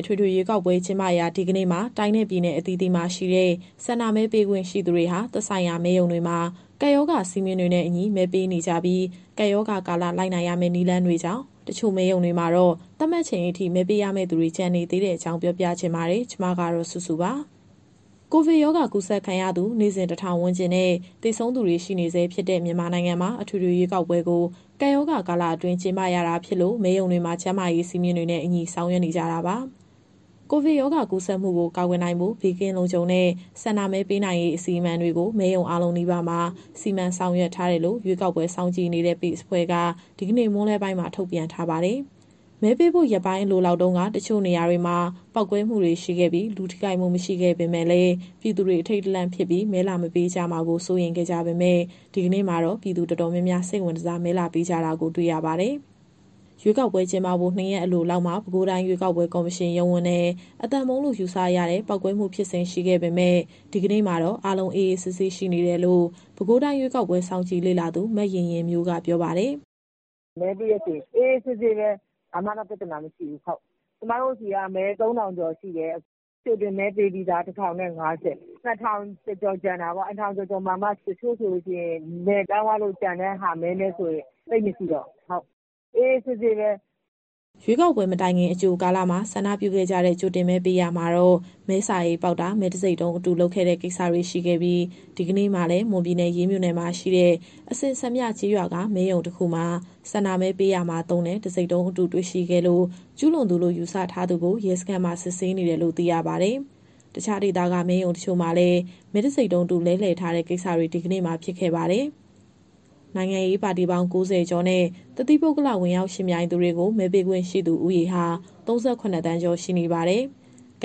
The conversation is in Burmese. အထွေထွေရွေးကောက်ပွဲ ကျင်းပရာ ဒီကနေ့မှာ တိုင်းနဲ့ပြည်နယ် အသီးသီးမှာရှိတဲ့ ဆန္ဒမဲပေးခွင့်ရှိသူတွေဟာ သက်ဆိုင်ရာမဲရုံတွေမှာ ကပ်ရောဂါ စည်းမျဉ်းတွေနဲ့အညီ မဲပေးနေကြပြီး ကပ်ရောဂါကာလ လိုက်နာရမယ့် နည်းလမ်းတွေကြောင့် တချို့မဲရုံတွေမှာတော့ သတ်မှတ်ချိန်အထိ မဲပေးရမယ့်သူတွေ ကျန်ရှိနေပါတယ်။ ဒီအကြောင်းကို ဗွီအိုအေမြန်မာပိုင်း သတင်းထောက် စုစု တင်ပြပေးထားပါတယ်။ ကိုဗစ်ရောဂါ ကူးစက်ခံရသူ နေ့စဉ် ၁,၀၀၀ ဝန်းကျင်နဲ့ သေဆုံးသူတွေ ရှိနေဆဲဖြစ်တဲ့ မြန်မာနိုင်ငံမှာ အထွေထွေရွေးကောက်ပွဲကို ကပ်ရောဂါကာလအတွင်း ကျင်းပရတာဖြစ်လို့ မဲရုံတွေမှာ ကျန်းမာရေး စည်းမျဉ်းတွေနဲ့အညီ ဆောင်ရွက်နေကြတာပါ။ ကိုဗစ်ရောဂါကူးစက်မှုကို ကာကွယ်နိုင်ဖို့ ဘေးကင်းလုံခြုံတဲ့ ဆန္ဒမဲပေးနိုင်ရေး အစီအမံတွေကို မဲရုံအားလုံးနီးပါးမှာ စီမံဆောင်ရွက်ထားတယ်လို့ ရွေးကောက်ပွဲစောင့်ကြည့်နေတဲ့ PACE အဖွဲ့က ဒီကနေ့မွန်းလွဲပိုင်းမှာ ထုတ်ပြန်ထားပါတယ်။ မဲပေးဖို့ ရက်ပိုင်းအလိုလောက်တုန်းက တချို့နေရာတွေမှာ ပေါက်ကွဲမှုတွေရှိခဲ့ပြီး လူထိခိုက်မှု မရှိပေမယ့်လည်း ပြည်သူတွေ အထိတ်တလန့်ဖြစ်ပြီး မဲလာမပေးကြမှာကို စိုးရိမ်ခဲ့ကြပေမယ့် ဒီကနေ့မှာတော့ ပြည်သူတော်တော်များများ စိတ်ဝင်တစား မဲလာပေးကြတာကို တွေ့ရပါတယ်။ ရွေးကောက်ပွဲကျင်းပဖို့ ၂ ရက်အလိုလောက်မှာ ပဲခူးတိုင်း ရွေးကောက်ပွဲကော်မရှင် ရုံးဝန်းထဲ အသံဗုံးလို့ ယူဆရတဲ့ ပေါက်ကွဲမှုဖြစ်စဉ် ရှိခဲ့ပေမယ့် ဒီကနေ့မှာတော့ အားလုံး အေးအေးဆေးဆေး ရှိနေတယ်လို့ ပဲခူးတိုင်း ရွေးကောက်ပွဲ စောင့်ကြည့်လေ့လာသူ မယဉ်ယဉ်မျိုးက ပြောပါတယ်။ "မဲပေးတဲ့အခြေအနေ အေးအေးဆေးဆေးပဲ၊ ဘာမှတော့ ပြဿနာမရှိဘူး။ ကျမတို့ဆီမှာ ပဲခူးမြို့၊ ရပ်ကွက်ကြီး ၂၊ မဲရုံအမှတ် ၂၊ မဲ ၃,၀၀၀ ကျော်ရှိတယ်။ ကြိုတင်မဲပေးပြီးသား ၁,၀၅၀ ဆိုတော့ ၂,၀၀၀ ကျော်ကျန်တာပေါ့။ အဲဒီ ၂,၀၀၀ ကျော်မှာ တချို့ဆိုရင် နယ်ပြောင်းသွားလို့ ကျန်တဲ့မဲနဲ့ဆိုရင် သိပ်မရှိတော့ဘူး။ အားလုံး အေးအေးဆေးဆေးပဲ။" ရွေးကောက်ပွဲမတိုင်ခင် အကြိုကာလမှာ ဆန္ဒပြုခဲ့ကြတဲ့ ကြိုတင်မဲပေးရာမှာတော့ မဲစာအိတ်ပေါက်တာ၊ မဲတံဆိပ်တုံးအတု လုပ်ခဲ့တဲ့ကိစ္စတွေ ရှိခဲ့ပြီး ဒီကနေ့မှာလည်း မွန်ပြည်နယ်၊ ရေးမြို့နယ်မှာရှိတဲ့ အစင်စံပြကျေးရွာက မဲရုံတခုမှာ ဆန္ဒမဲပေးရာမှာသုံးတဲ့ တံဆိပ်တုံးအတု တွေ့ရှိခဲ့လို့ ကျူးလွန်သူလို့ ယူဆထားသူကို ရဲစခန်းမှာ စစ်ဆေးနေတယ်လို့ သိရပါတယ်။ တခြားဒေသက မဲရုံတချို့မှာလည်း မဲတံဆိပ်တုံးအတု လဲလှယ်ထားတဲ့ကိစ္စတွေ ဒီကနေ့မှာ ဖြစ်ခဲ့ပါတယ်။ နိုင်ငံရေးပါတီပေါင်း ၉၀ ကျော်နဲ့ တသီးပုဂ္ဂလ ဝင်ရောက်ယှဉ်ပြိုင်သူတွေကို မဲပေးခွင့်ရှိသူ ဦးရေဟာ ၃၇ သန်းကျော် ရှိနေပါတယ်။ အစ